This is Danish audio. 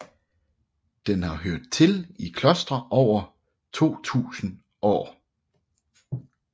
Den har hørt til i klostre i over 2000 år